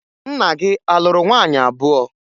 Nna gị a lụrụ nwaanyị abụọ?